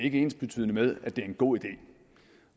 ikke ensbetydende med at det er en god